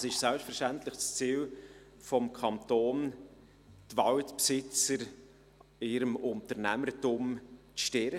Es ist selbstverständlich das Ziel des Kantons, die Walbesitzer in ihrem Unternehmertum zu stärken.